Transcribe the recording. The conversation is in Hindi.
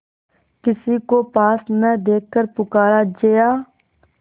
किसी को पास न देखकर पुकारा जया